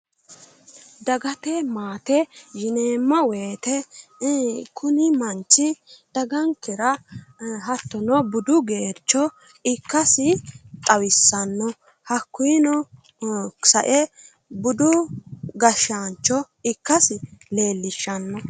Dagate maate yineemmo woyite kuni manchi dagankera hattono budu geercho ikkasi xawissanno. Hakkuyino sae budu gashshaancho ikkasi leellishshanno.